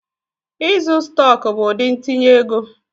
Ịzụ stọk bụ ụdị ntinye ego.